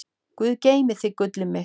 Guð geymi þig, gullið mitt.